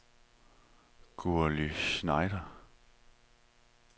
Gurli Schneider